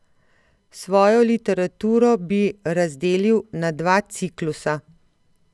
Svojo literaturo bi razdelil na dva ciklusa.